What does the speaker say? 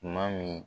Tuma min